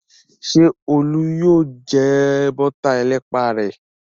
Ṣé Olú yóò jẹ bọ́tà ẹlẹ́pà rẹ̀?